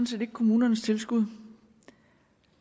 set ikke kommunernes tilskud